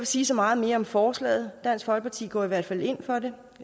sige så meget mere om forslaget dansk folkeparti går i hvert fald ind for